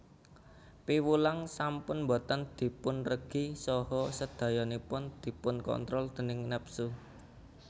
Piwulang sampun boten dipunregi saha sedayanipun dipunkontrol déning nepsu